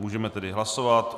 Můžeme tedy hlasovat.